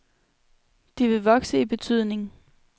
De vil vokse i betydning.